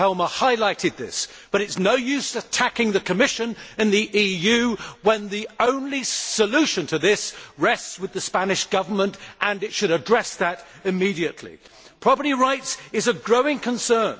Mr Helmer highlighted this, but it is no use attacking the Commission and the EU when the only solution to this issue rests with the Spanish Government. It should address it immediately. Property rights are a growing concern